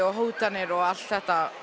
hótanir og allt þetta